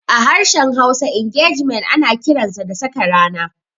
A harshen Hausa, Ingejimen ana kiransa da "Saka rana".